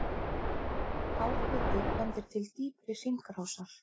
Hár hiti bendir til dýpri hringrásar.